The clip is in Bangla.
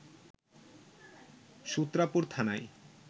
সূত্রাপুর থানায়